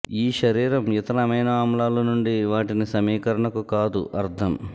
ఈ శరీరం ఇతర అమైనో ఆమ్లాలు నుండి వాటిని సమీకరణకు కాదు అర్థం